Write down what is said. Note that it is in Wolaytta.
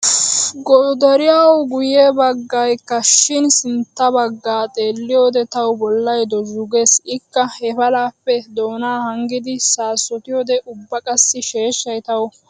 Godariyawu guyye baggaykka shin sintta baggaa xeelliyoode tawu bollay dozhggu gees. Ikka he palaappe doonaa hanggidi saasotiyoode ubba qassi sheeshshay tawu wodhdhana hanees.